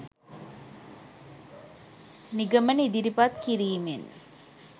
නිගමන ඉදිරිපත් කිරිමෙන්